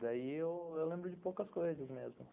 Daí eu lembro de poucas coisas mesmo.